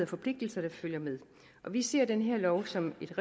forpligtelser der følger med vi ser den her lov som et